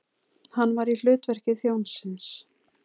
Hann var í hlutverki þjónsins.